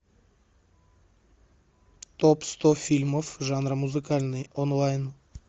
топ сто фильмов жанра музыкальный онлайн